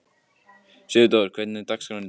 Sigurdór, hvernig er dagskráin í dag?